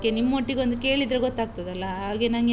ಅದ್ಕೆ ನಿಮ್ಮೊಟಿಗ್ ಒಂದ್ ಕೇಳಿದ್ರೆ ಗೊತ್ತಾಗ್ತದಲ್ಲಾ, ಹಾಗೆ ನಂಗೆ.